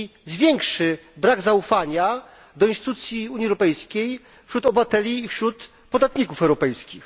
zwiększy brak zaufania do instytucji Unii Europejskiej wśród obywateli i wśród podatników europejskich.